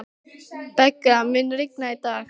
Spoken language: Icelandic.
Begga, mun rigna í dag?